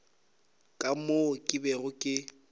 ka moo ke bego ke